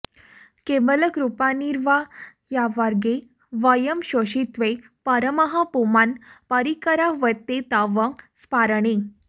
केवलकृपानिर्वाह्यवर्गे वयं शेषित्वे परमः पुमान् परिकरा ह्येते तव स्फारणे